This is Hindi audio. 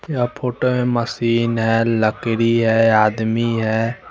यहाँ फोटो हैं मशीन हैं लकड़ी हैं आदमी हैं।